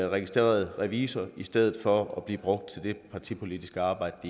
registreret revisor i stedet for at blive brugt til det partipolitiske arbejde